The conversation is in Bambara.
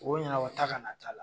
U b'o ɲanabɔ taa ka na t'a la.